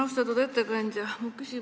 Austatud ettekandja!